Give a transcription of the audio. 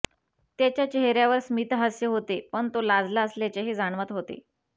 त्याच्या चेहऱ्यावर स्मितहास्य होते पण तो लाजला असल्याचेही जाणवत होते